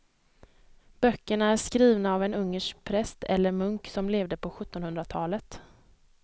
Böckerna är skrivna av en ungersk präst eller munk som levde på sjuttonhundratalet.